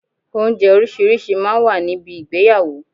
Oúnjẹ orísìírísìí máa ń wà ní bi ìgbéyàwó.